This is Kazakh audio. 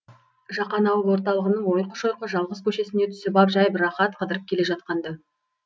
жақан ауыл орталығының ойқы шойқы жалғыз көшесіне түсіп ап жайбарақат қыдырып келе жатқан ды